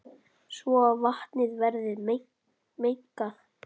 svo vatnið verður mengað.